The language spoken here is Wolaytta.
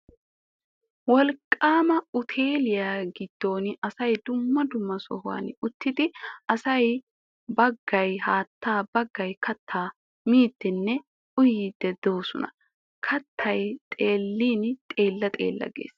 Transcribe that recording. Wolqqaama uuteeliya giddon asay dumma dumma sohuwan uttidi asay baggay haattaa baggay kattaa miiddinne uyiiddi de'oosona keettay xeellin xeella xeella gees.